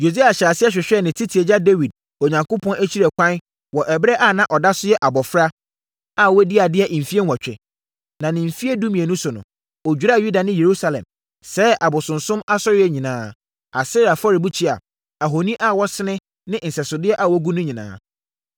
Yosia hyɛɛ aseɛ hwehwɛɛ ne tete agya Dawid Onyankopɔn akyiri ɛkwan wɔ ɛberɛ a na ɔda so yɛ abɔfra a wadi adeɛ mfeɛ nwɔtwe. Na ne mfeɛ dumienu so no, ɔdwiraa Yuda ne Yerusalem, sɛee abosonsom asɔreeɛ nyinaa, Asera afɔrebukyia, ahoni a wɔasene ne nsɛsodeɛ a wɔagu no nyinaa.